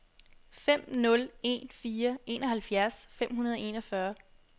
fem nul en fire enoghalvfjerds fem hundrede og enogfyrre